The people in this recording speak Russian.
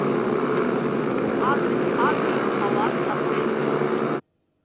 адрес атриум палас отель